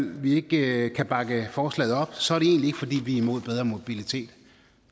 vi ikke kan bakke forslaget op så er det egentlig ikke fordi vi er imod bedre mobilitet